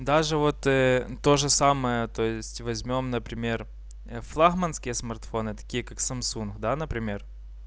даже вот то же самое то есть возьмём например флагманские смартфоны такие как самсунг да например